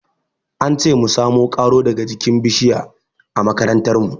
An ce mu samo ƙaro daga jikin bishiya a makarantar mu.